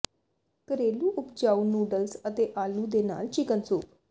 ਘਰੇਲੂ ਉਪਜਾਊ ਨੂਡਲਸ ਅਤੇ ਆਲੂ ਦੇ ਨਾਲ ਚਿਕਨ ਸੂਪ